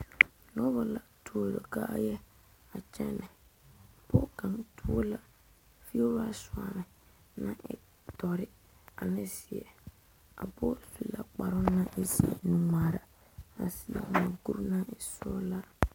Noba la tuo kaaya a kyɛne pɔge kaŋa tuo la fiɛwire soɔme ko e doɔre ane ziɛ a pɔge su la kparo naŋ e ziɛ nu ŋmaare a seɛ moɔkur naŋ e sɔglaa.